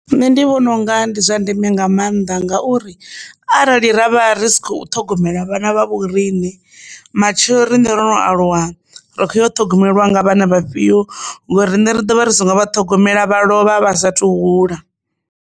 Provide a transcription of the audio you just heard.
Nṋe ndi vhona unga ndi zwa ndeme nga maanḓa ngauri arali ravha ri si kho ṱhogomela vhana vha vhoriṋe matshelo riṋe ro no aluwa ri kho ṱhogomelwa nga vhana vhafhio ngauri riṋe ri dovha ri singo vha ṱhogomela vha lovha vha sathu hula.